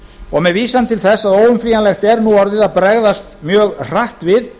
og með vísan til þess að óumflýjanlegt er nú orðið að bregðast mjög hratt við